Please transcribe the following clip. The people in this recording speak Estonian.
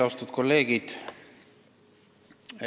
Austatud kolleegid!